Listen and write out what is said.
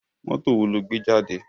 Mọ́tò wo ló gbé jáde?